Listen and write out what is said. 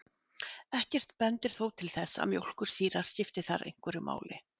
Ekkert bendir þó til þess að mjólkursýra skipti þar einhverju máli.